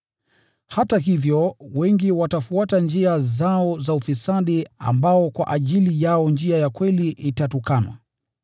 Hata hivyo, wengi watafuata njia zao za ufisadi, na kwa ajili yao njia ya kweli itatukanwa.